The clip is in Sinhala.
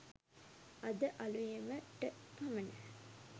අද ‍අලුයම . ට පමණ